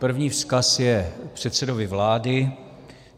První vzkaz je předsedovi vlády.